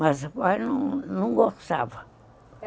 Mas o pai não não gostava.